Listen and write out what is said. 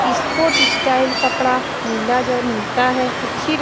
sport style कपड़ा मिला जो मिलता है अच्छी --